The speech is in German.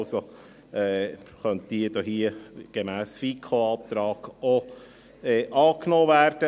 Also könnte diese gemäss FiKo-Antrag auch angenommen werden.